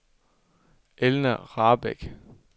Elna Rahbek